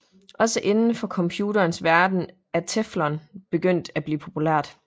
Også inden for computerens verden er teflon begyndt at blive populært